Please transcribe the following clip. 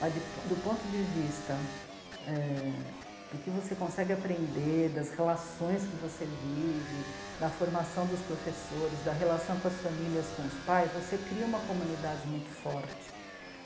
Mas do ponto de vista é... do que você consegue aprender, das relações que você vive, da formação dos professores, da relação com as famílias, com os pais, você cria uma comunidade muito forte.